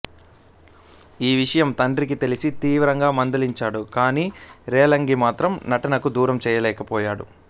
ఈ విషయం తండ్రికి తెలిసి తీవ్రంగా మందలించాడు కానీ రేలంగిని మాత్రం నటనకు దూరం చేయలేకపోయాడు